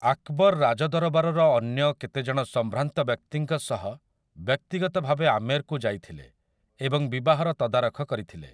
ଆକ୍‌ବର୍ ରାଜଦରବାରର ଅନ୍ୟ କେତେଜଣ ସମ୍ଭ୍ରାନ୍ତ ବ୍ୟକ୍ତିଙ୍କ ସହ ବ୍ୟକ୍ତିଗତ ଭାବେ ଆମେର୍‌କୁ ଯାଇଥିଲେ ଏବଂ ବିବାହର ତଦାରଖ କରିଥିଲେ ।